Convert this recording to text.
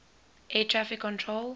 air traffic control